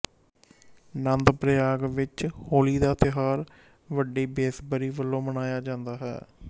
ਨੰਦਪ੍ਰਯਾਗ ਵਿੱਚ ਹੋਲੀ ਦਾ ਤਿਉਹਾਰ ਵੱਡੀ ਬੇਸਬਰੀ ਵਲੋਂ ਮਨਾਇਆ ਜਾਂਦਾ ਹੈ